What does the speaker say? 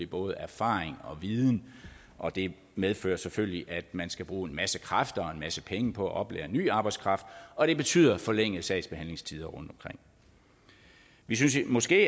både erfaring og viden og det medfører selvfølgelig at man skal bruge en masse kræfter og en masse penge på at oplære ny arbejdskraft og det betyder forlængede sagsbehandlingstider rundtomkring vi synes måske